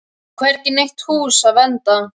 Og hvergi í neitt hús að venda.